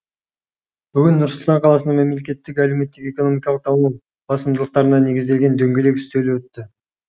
бүгін нұр сұлтан қаласында мемлекеттің әлеуметтік экономикалық даму басымдылықтарына негізделген дөңгелек үстел өтті